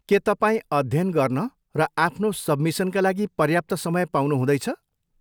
के तपाईँ अध्ययन गर्न र आफ्नो सबमिसनका लागि पर्याप्त समय पाउनु हुँदैछ?